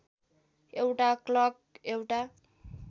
एउटा क्लर्क एउटा